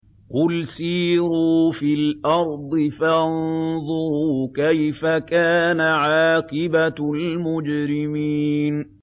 قُلْ سِيرُوا فِي الْأَرْضِ فَانظُرُوا كَيْفَ كَانَ عَاقِبَةُ الْمُجْرِمِينَ